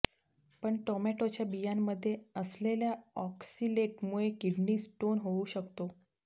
पण टॉमेटोच्या बियांमध्ये असलेल्या ऑक्सलेटमुळे किडनी स्टोन होऊ शकतो